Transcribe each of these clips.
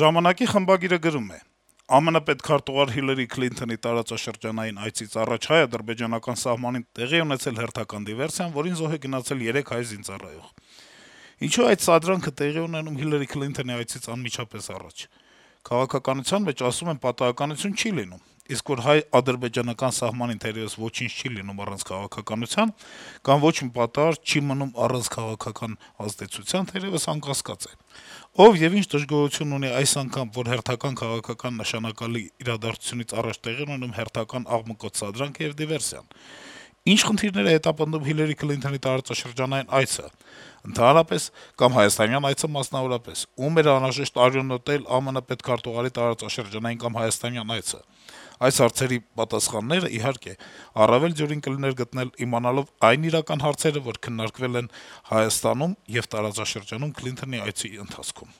«Ժամանակ»-ի խմբագիրը գրում է. - «ԱՄՆ պետքարտուղար Հիլարի Քլինթոնի տարածաշրջանային այցից առաջ հայ-ադրբեջանական սահմանին տեղի է ունեցել հերթական դիվերսիան, որին զոհ է գնացել երեք հայ զինծառայող: Ինչո՞ւ է այդ սադրանքը տեղի ունենում Հիլարի Քլինթոնի այցից անմիջապես առաջ: Քաղաքականության մեջ, ասում են, պատահականություն չի լինում: Իսկ որ հայ-ադրբեջանական սահմանին թերեւս ոչինչ չի լինում առանց քաղաքականության, կամ ոչ մի պատահար չի մնում առանց քաղաքական ազդեցության՝ թերեւս անկասկած է: Ով եւ ինչ դժգոհություն ունի այս անգամ, որ հերթական քաղաքական նշանակալից իրադարձությունից առաջ տեղի է ունենում հերթական աղմկոտ սադրանքը եւ դիվերսիան: Ի՞նչ խնդիրներ է հետապնդում Հիլարի Քլինթոնի տարածաշրջանային այցը՝ ընդհանրապես կամ հայաստանյան այցը՝ մասնավորապես: Ո՞ւմ էր անհրաժեշտ «արյունոտել» ԱՄՆ պետքարտուղարի տարածաշրջանային կամ հայաստանյան այցը: Այս հարցերի պատասխաններն, իհարկե, առավել դյուրին կլիներ գտնել՝ իմանալով այն իրական հարցերը, որ քննարկվելու են Հայաստանում եւ տարածաշրջանում Քլինթոնի այցի ընթացքում»: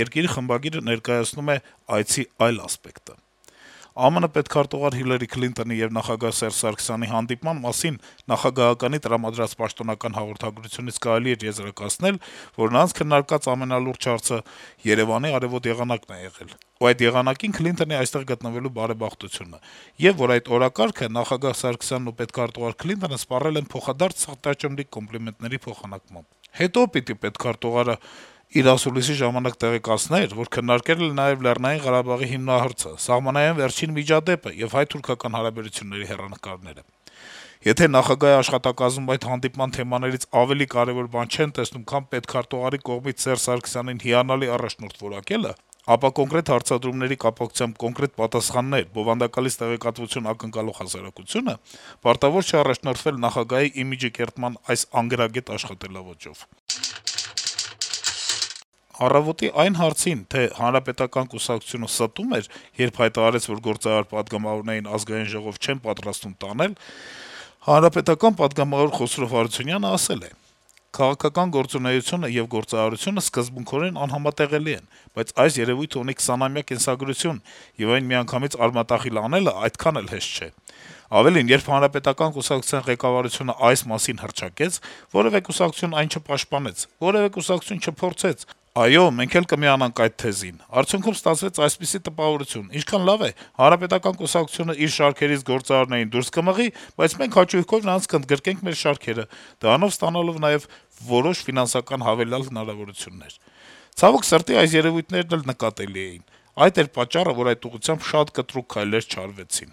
«Երկիր»-ի խմբագիրը ներկայացնում է այցը այլ տեսանկյունից. - «ԱՄՆ պետքարտուղար Հիլարի Քլինթոնի եւ նախագահ Սերժ Սարգսյանի հանդիպման մասին նախագահականի տրամադրած պաշտոնական հաղորդագրությունից կարելի էր եզրակացնել, որ նրանց քննարկած ամենալուրջ հարցը Երեւանի արեւոտ եղանակն է եղել, ու այդ եղանակին Քլինթոնի այստեղ գտնվելու բարեբախտությունը եւ, որ այդ օրակարգը նախագահ Սարգսյանն ու պետքարտուղար Քլինթոնը սպառել են փոխադարձ սրտաճմլիկ կոմպլիմենտների փոխանակմամբ: Հետո պիտի պետքարտուղարն իր ասուլիսի ժամանակ տեղեկացներ, որ քննարկել են նաեւ ԼՂ հիմնահարցը, սահմանային վերջին միջադեպը եւ հայ-թուրքական հարաբերությունների հեռանկարը: Եթե նախագահի աշխատակազմում այդ հանդիպման թեմաներից ավելի կարեւոր բան չեն տեսնում, քան պետքարտուղարի կողմից Սերժ Սարգսյանին «հիանալի առաջնորդ» որակելը, ապա կոնկրետ հարցադրումների կապակցությամբ կոնկրետ պատասխաններ, բովանդակալից տեղեկատվություն ակնկալող հասարակությունը պարտավոր չէ առաջնորդվել նախագահի իմիջի կերտման այս անգրագետ աշխատաոճով»: «Առավոտ»-ի այն հարցին, թե Հանրապետական կուսակցությունը ստո՞ւմ էր, երբ հայտարարեց, որ գործարար պատգամավորներին Ազգային ժողով չեն պատրաստվում տանել, ՀՀԿ-ական պատգամավոր Խոսրով Հարությունյանը պատասխանել է. - «Քաղաքական գործունեությունն ու գործարարությունը սկզբունքորեն անհամատեղելի են, բայց այս երեւույթը ունի 20- ամյա կենսագրություն, եւ այն միանգամից արմատախիլ անել այդքան էլ հեշտ չէ: Ավելին՝ երբ Հանրապետական կուսակցության ղեկավարությունը այս մասին հռչակեց, որեւէ կուսակցություն այն չպաշտպանեց, որեւէ կուսակցություն չփորձեց՝ այո, մենք էլ կմիանայինք այդ թեզին: Արդյունքում՝ ստացվեց այսպիսի տպավորություն՝ ինչքան լավ է, Հանրապետական կուսակցությունը իր շարքերից գործարարներին դուրս կմղի, բայց մենք հաճույքով նրանց կընդգրկենք մեր շարքերը, դրանով ստանալով նաեւ որոշ ֆինանսական հավելյալ հնարավորություններ: Ցավոք սրտի, այս երեւույթներն էլ նկատելի էին: Այդ էր պատճառը, որ այդ ուղղությամբ շատ կտրուկ քայլեր չարվեցին»: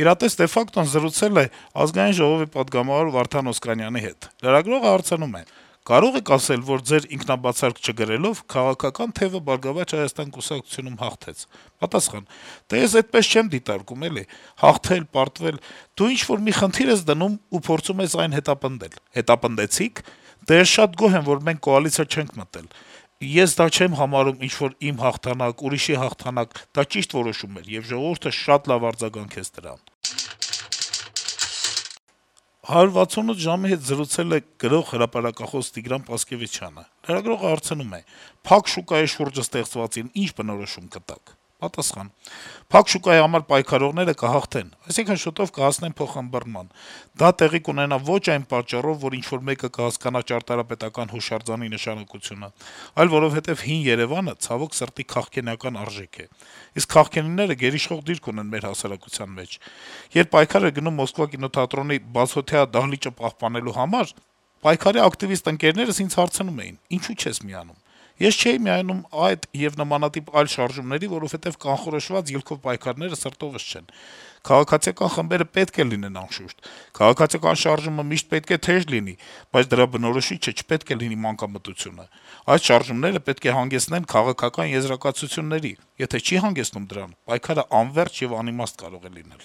«Իրատես դե ֆակտո»-ն զրուցել է ԱԺ պատգամավոր Վարդան Օսկանյանի հետ: Թերթի հարցին, թե կարո՞ղ եք ասել, որ Ձեր ինքաբացարկ չգրելով քաղաքական թեւը «Բարգավաճ Հայաստան» կուսակցությունում հաղթեց, Օսկանյանը պատասխանում է. -« Դե ես էդպես չեմ դիտարկում, էլի. հաղթել-պարտվել: Դու ինչ-որ մի խնդիր ես դնում եւ փորձում ես հետապնդել այն»: «Հետապնդեցի՞ք». «Դե, ես շատ գոհ եմ, որ մենք կոալիցիա չենք մտել, էլի, ես դա չեմ համարում ինչ-որ իմ հաղթանակ, ուրիշի հաղթանակ: Դա ճիշտ որոշում էր, եւ ժողովուրդը շատ լավ արձագանքեց դրան»: «168 ժամ»-ի հետ զրուցել է գրող, հրապարակախոս Տիգրան Պասկեւիչյանը: Լրագրողը հարցնում է. - «Փակ շուկայի շուրջը ստեղծվածին ի՞նչ բնորոշում կտաք»: Պասկեւիչյանը պատասխանում է. « Փակ շուկայի համար պայքարողները կհաղթեն, այսինքն՝ շուտով կհասնեն փոխըմբռնման։ Դա տեղի կունենա ոչ այն պատճառով, որ ինչ-որ մեկը կհասկանա ճարտարապետական հուշարձանի նշանակությունը, այլ որովհետեւ հին Էրեւանը, ցավոք սրտի, քաղքենական արժեք է։ Իսկ քաղքենիները գերիշխող դիրք ունեն մեր հասարակության մեջ։ Երբ պայքար էր գնում «Մոսկվա» կինոթատրոնի բացօթյա դահլիճը պահպանելու համար, ընկերներս (պայքարի ակտիվիստներ) ինձ հարցնում էին՝ ինչո՞ւ չես միանում։ Ես չէի միանում այդ եւ նմանատիպ այլ շարժումների, որովհետեւ կանխորոշված ելքով պայքարները սրտովս չեն։ Քաղաքացիական խմբերը պետք է լինեն, անշուշտ։ Քաղաքացիական շարժումը միշտ պետք է թեժ լինի, բայց դրա բնորոշիչը չպետք է լինի մանկամտությունը։ Այդ շարժումները պետք է հանգեցնեն քաղաքական եզրակացությունների: Եթե չի հանգեցնում դրան, պայքարն անվերջ եւ անիմաստ կարող է լինել»: